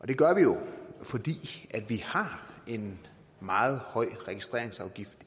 det gør vi jo fordi vi har en meget høj registreringsafgift